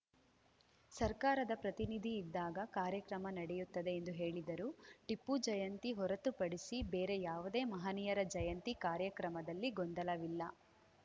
ಸರ್ಕಾರದ ಪ್ರತಿನಿಧಿ ಇದ್ದಾಗ ಕಾರ್ಯಕ್ರಮ ನಡೆಯುತ್ತದೆ ಎಂದು ಹೇಳಿದರು ಟಿಪ್ಪು ಜಯಂತಿ ಹೊರತುಪಡಿಸಿ ಬೇರೆ ಯಾವುದೇ ಮಹನೀಯರ ಜಯಂತಿ ಕಾರ್ಯಕ್ರಮದಲ್ಲಿ ಗೊಂದಲವಿಲ್ಲ